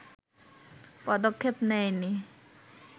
পদক্ষেপ নেয়নি